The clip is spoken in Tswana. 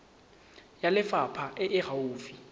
ya lefapha e e gaufi